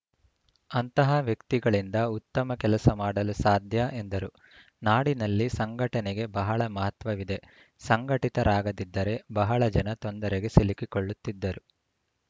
ಅಂತಹ ವ್ಯಕ್ತಿಗಳಿಂದ ಉತ್ತಮ ಕೆಲಸ ಮಾಡಲು ಸಾಧ್ಯ ಎಂದರು ನಾಡಿನಲ್ಲಿ ಸಂಘಟನೆಗೆ ಬಹಳ ಮಹತ್ವವಿದೆ ಸಂಘಟಿತರಾಗದಿದ್ದರೆ ಬಹಳ ಜನ ತೊಂದರೆಗೆ ಸಿಲುಕಿಕೊಳ್ಳುತ್ತಿದ್ದರು